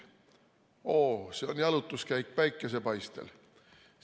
Oo, see on jalutuskäik päikesepaistel!